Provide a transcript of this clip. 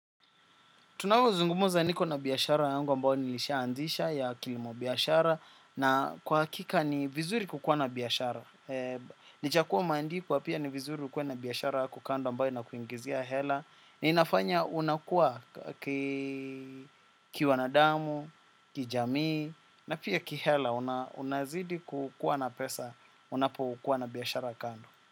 Tunavyo zungumza niko na biashara yangu ambao nilisha anzisha ya kilimo biashara na kwa hakika ni vizuri kukua na biashara. Licha kuwa umeandikwa pia ni vizuri ukue na biashara yako kando ambao ina kuingizia hela. Inafanya unakua kiwanadamu, kijamii na pia ki hela unazidi kukua na pesa unapo kua na biashara kando.